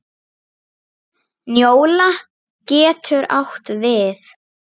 Njóla getur átt við